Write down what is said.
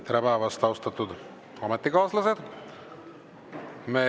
Tere päevast, austatud ametikaaslased!